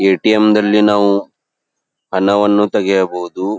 ATM ನಲ್ಲಿ ನಾವು ಹಣವನ್ನು ತೆಗೆಯಬಹುದು.